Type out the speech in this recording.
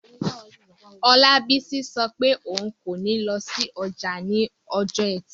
Olabisi sọ pé òun kò ní lọ sí ọjà ní ọjọ́ ẹtì